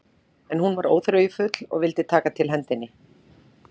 En hún var óþreyjufull og vildi taka til hendinni.